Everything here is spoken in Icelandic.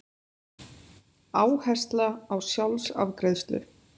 Áhersla á sjálfsafgreiðslu